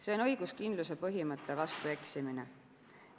See on õiguskindluse põhimõtte vastu eksimine.